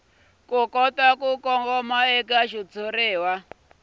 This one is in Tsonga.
kota ku kongoma eka xitshuriwa